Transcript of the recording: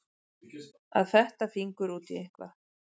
Að fetta fingur út í eitthvað